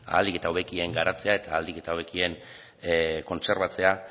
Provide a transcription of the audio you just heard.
ahalik eta hobekien garatzea eta ahalik eta hobekien kontserbatzea